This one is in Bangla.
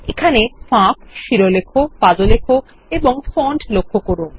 এখানে ফাঁক শিরলেখ পাদলেখ ফন্ট লক্ষ্য করুন